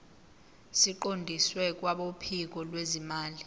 siqondiswe kwabophiko lwezimali